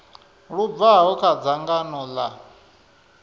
lu bvaho kha dzangano ḽa